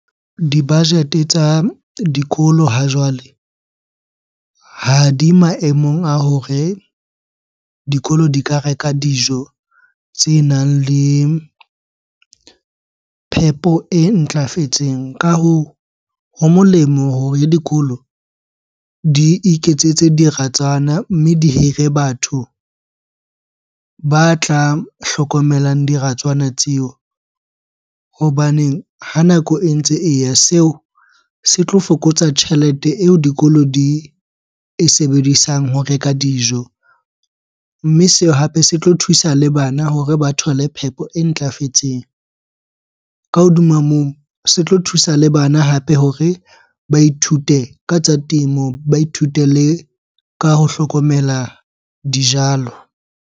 Di-budget-e tsa dikolo ha jwale, ha di maemong a hore dikolo di ka reka dijo tsenang le phepo e ntlafetseng. Ka hoo, ho molemo hore dikolo di iketsetse diratswana mme di hire batho ba tla hlokomelang diratswana tseo. Hobaneng ha nako e ntse e ya, seo se tlo fokotsa tjhelete eo dikolo di e sebedisang ho reka dijo. Mme seo hape se tlo thusa le bana hore ba thole phepo e ntlafetseng. Ka hodima moo, se tlo thusa le bana hape hore ba ithute ka tsa temo, ba ithute le ka ho hlokomela dijalo.